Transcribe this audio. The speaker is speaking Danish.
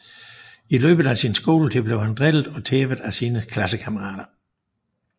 I løbet af sin skoletid bliver han drillet og tævet af sine klassekammerater